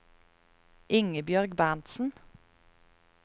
Ingebjørg Berntzen